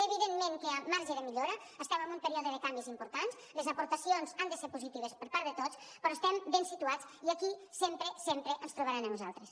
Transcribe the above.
evidentment que hi ha marge de millora estem en un període de canvis importants les aportacions han de ser positives per part de tots però estem ben situats i aquí sempre sempre ens trobaran a nosaltres